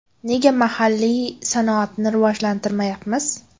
Nega mahalliy sanoatni rivojlantirmayapmiz?